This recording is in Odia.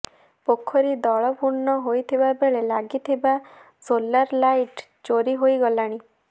ପୋଖରୀ ଦଳ ପୂର୍ଣ୍ଣ ହୋଇଥିବା ବେଳେ ଲାଗିଥିବା ସୋଲାର ଲାଇଟ୍ ଚୋରି ହୋଇଗଲାଣି